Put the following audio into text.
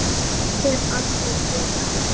Hef aldrei séð hann.